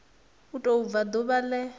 u tou bva ḓuvha ḽe